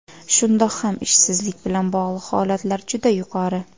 Shundoq ham ishsizlik bilan bog‘liq holatlar juda yuqori.